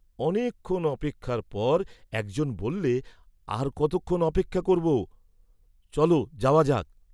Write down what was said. অনেক ক্ষণ অপেক্ষার পর একজন বল্লে আর কতক্ষণ অপেক্ষা করব, চল, যাওয়া যাক!